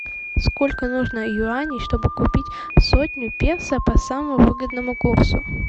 сколько нужно юаней чтобы купить сотню песо по самому выгодному курсу